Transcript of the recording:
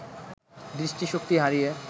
দৃষ্টিশক্তি হারিয়ে